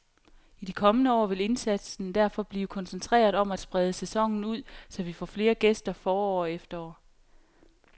I de kommende år vil indsatsen derfor blive koncentreret om at sprede sæsonen ud, så vi får flere gæster forår og efterår.